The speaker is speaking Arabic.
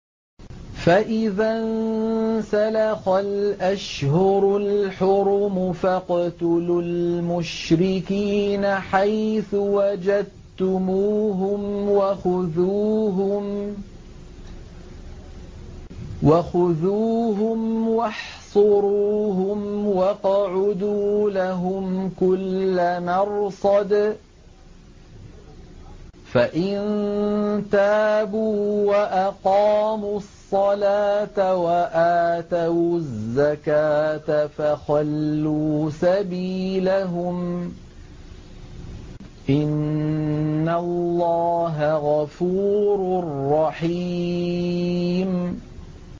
فَإِذَا انسَلَخَ الْأَشْهُرُ الْحُرُمُ فَاقْتُلُوا الْمُشْرِكِينَ حَيْثُ وَجَدتُّمُوهُمْ وَخُذُوهُمْ وَاحْصُرُوهُمْ وَاقْعُدُوا لَهُمْ كُلَّ مَرْصَدٍ ۚ فَإِن تَابُوا وَأَقَامُوا الصَّلَاةَ وَآتَوُا الزَّكَاةَ فَخَلُّوا سَبِيلَهُمْ ۚ إِنَّ اللَّهَ غَفُورٌ رَّحِيمٌ